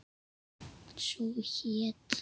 Sú hét